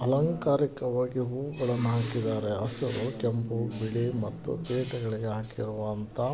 ಅಲಂಕಾರಿಕವಾಗಿ ಹೂವುಗಳನ್ನು ಹಾಕಿದಾರೆ-- ಹಸಿರು ಕೆಂಪು ಬಿಳಿ ಮತ್ತು ಪೀಠಗಳಿಗೆ ಹಾಕಿರುವಂತಹ--